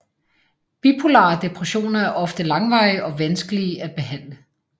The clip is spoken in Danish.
Bipolare depressioner er ofte langvarige og vanskelige at behandle